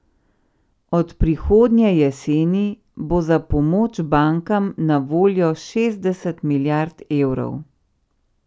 Od prihodnje jeseni bo za pomoč bankam na voljo šestdeset milijard evrov.